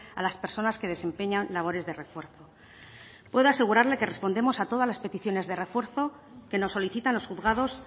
a las personas que desempeñan labores de refuerzo puedo asegurarle que respondemos a todas las peticiones de refuerzo que nos solicitan los juzgados